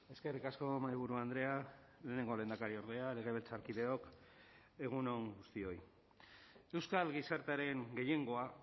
eskerrik asko mahaiburu andrea lehenengo lehendakariordea legebiltzarkideok egun on guztioi euskal gizartearen gehiengoa